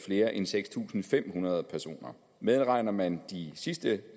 flere inden seks tusind fem hundrede personer medregner man de sidste